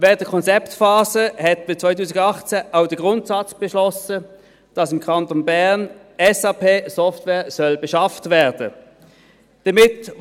Während der Konzeptphase hat man 2018 auch den Grundsatz beschlossen, dass im Kanton Bern die SAP-Software beschafft werden soll.